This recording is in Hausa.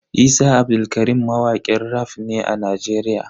Isa Abdulkarim mawakin raf ne a Nigeria.